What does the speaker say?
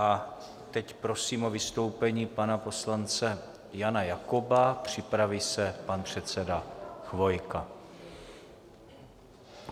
A teď prosím o vystoupení pana poslance Jana Jakoba, připraví se pan předseda Chvojka.